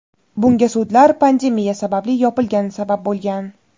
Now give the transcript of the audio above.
Bunga sudlar pandemiya sababli yopilgani sabab bo‘lgan.